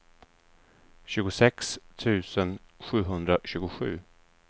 tjugosex tusen sjuhundratjugosju